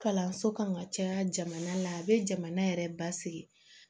Kalanso kan ka caya jamana la a bɛ jamana yɛrɛ basigi